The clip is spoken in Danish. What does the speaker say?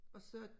Og så